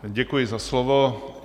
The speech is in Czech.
Děkuji za slovo.